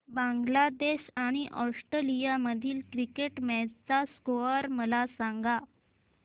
बांगलादेश आणि ऑस्ट्रेलिया मधील cricket match चा स्कोअर मला सांगा